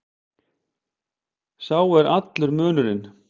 Sá er allur munurinn.